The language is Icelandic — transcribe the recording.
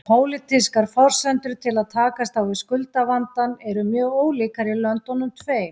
Pólitískar forsendur til að takast á við skuldavandann eru mjög ólíkar í löndunum tveim.